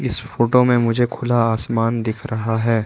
इस फोटो में मुझे खुला आसमान दिख रहा है।